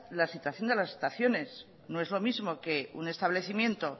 la situación de las estaciones no es lo mismo que un establecimiento